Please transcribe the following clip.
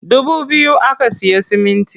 Dubu biyu aka siya siminti.